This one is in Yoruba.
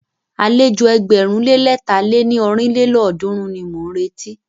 Àlejò ẹgbẹ̀rún lé lẹ̀ta lé ní ọ́rin lélọ́ọ̀dúnrún ni mọ̀ ń retí.